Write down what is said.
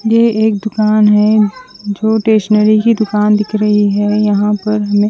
ये एक दूकान है जो स्टेशनरी की दूकान दिख रही है यहाँ पे हमे --